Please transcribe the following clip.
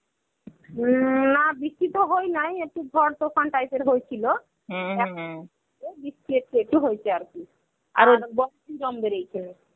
উম না বৃষ্টি তো হয়নাই. একটু ঝড় তুফান type এর হয়েছিল একটু হয়েছে আরকি.